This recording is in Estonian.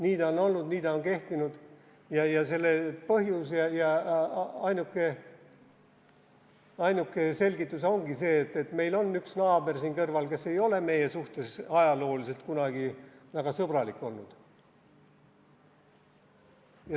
Nii see on olnud, nii see on kehtinud ja selle ainuke selgitus ongi, et meil on üks naaber siin kõrval, kes ei ole meie suhtes ajalooliselt kunagi väga sõbralik olnud.